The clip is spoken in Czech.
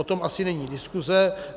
O tom asi není diskuze.